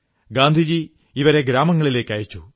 ഗാന്ധിജി ഇവരെ ഗ്രാമങ്ങളിലേക്കയച്ചു